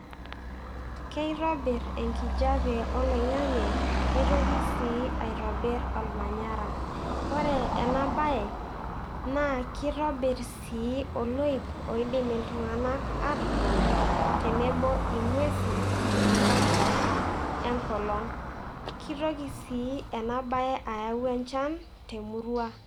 Kitobirr enkijape oloing'ang'e nitoki sii aitobirr olmanyara, ore ena baye naa kitobirr sii oloip oidim iltung'anak aatotonie tenebo ing'uesin tenkata enkolong' kitoki sii ena baye ayau enchan te emurua.